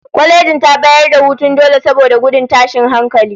Kwalejin ta bayar da hutun dole saboda gudun tashin hankali